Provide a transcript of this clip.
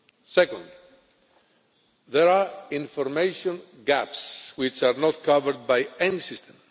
Second, there are information gaps which are not covered by any system.